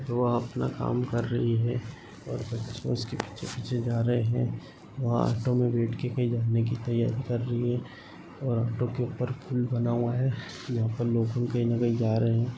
वो अपना काम कर रही है और बच्चे उसके पीछे-पीछे जा रहे है। वह ऑटो मे बैठ के कही जाने की तैयारी कर रही है और ऑटो के ऊपर फूल बना हुआ है। यहा पर लोग कही न कही जा रहे है।